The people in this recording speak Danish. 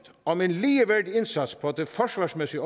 om en ligeværdig indsats på det forsvarsmæssige